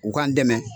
U k'an dɛmɛ